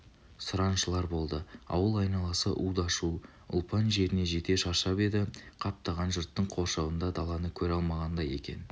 сұраншылар болды ауыл айналасы уда-шу ұлпан жеріне жете шаршап еді қаптаған жұрттың қоршауында даланы көре алмағандай екен